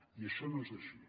i això no és així